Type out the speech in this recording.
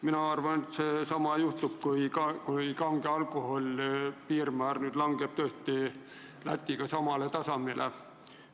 Mina arvan, et see tõesti juhtub, kui kange alkoholi aktsiisi piirmäär nüüd langeb Läti omaga samale tasemele.